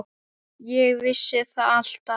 Ég vissi það alltaf.